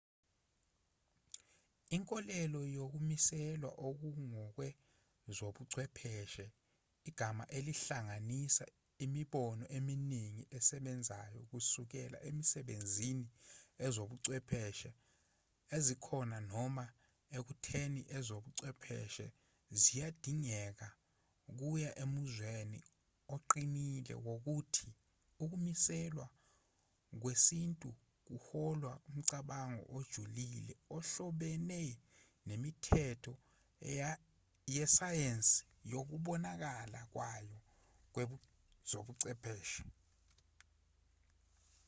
inkolelo yokumiselwa okungokwezobuchwepheshe igama elihlanganisa imibono eminingi esebenzayo kusukela ekusebenziseni ezobuchwepheshe ezikhona noma ekutheni ezobuchwepheshe ziyadingeka kuya emuzweni oqinile wokuthi ukumiselwa kwesintu kuholwa umcabango ojulile ohlobene nemithetho yesayensi nokubonakala kwayo kwezobuchwepheshe